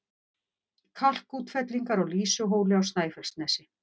Kalkútfellingar á Lýsuhóli á Snæfellsnesi